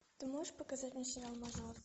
ты можешь показать мне сериал мажор